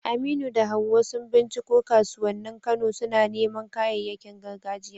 Aminu da Hawwa sun binciko kasuwannin Kano, suna neman kayayyakin gargajiya.